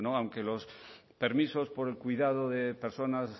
aunque los permisos por el cuidado de personas